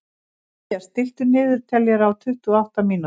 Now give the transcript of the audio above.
Mathías, stilltu niðurteljara á tuttugu og átta mínútur.